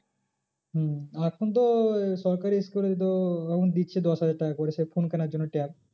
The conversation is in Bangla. হম এখন তো সরকারি school এ তো এখন দিচ্ছে দশ হাজার টাকা করে সে phone কেনার জন্য tab